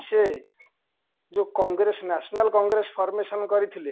ଯୋଉ congress national congress formation କରିଥିଲେ